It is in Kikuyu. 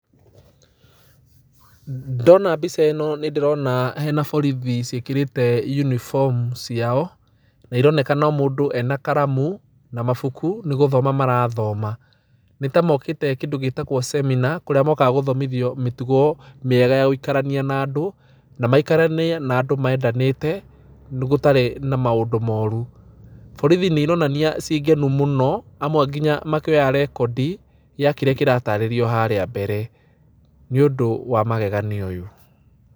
Ndona mbica ĩno nĩ ndĩrona hena borithi ciĩkĩrĩte uniform ciao, na ironeka o mũndũ ena karamu na mabuku, nĩ gũthoma marathoma, nĩ ta mokĩte kĩndũ gĩtagwo seminar kũrĩa mokaga gũthomithio mĩtugo mĩega ya gũikarania na andũ, na maikaranie na andũ mendanĩte, gũtarĩ na maũndũ moru. Borithi nĩ ironania ciĩ ngenu mũno, amwe nginya makĩoya rekondi, ya kĩrĩa kĩratarĩrio harĩa mbere, nĩ ũndũ wa magegania ũyũ.